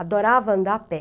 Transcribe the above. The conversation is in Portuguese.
Adorava andar a pé.